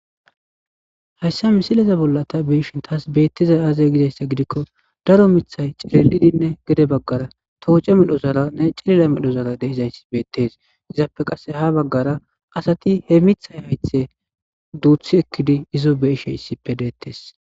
Hayssa misileza bolla ta biishin taas beettiza aaze gidayssa gidikko daro mithay cerelidinne gede baggara tooce medho zala ne cilila medho zala deizayss beettes izaappe qasse ha baggara asati he mithay haythe duuthi ekkidi izo beeshe issippe deettes